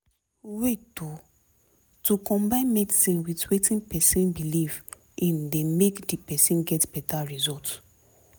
wait o- to combine medicine with wetin pesin belief in dey make di person get beta result